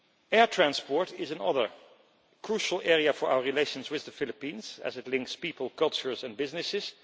Air transport is another crucial area for our relations with the Philippines as it links people cultures and businesses.